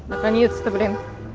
наконец-то блин